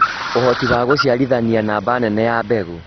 ũhoti wa gũciaraithania namba nene ya mbegũ